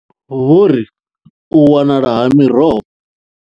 Vho ri u wanala ha miroho.